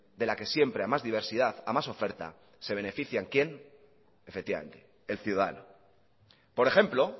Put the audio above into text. de la que siempre a más diversidad a más oferta se benefician quién efectivamente el ciudadano por ejemplo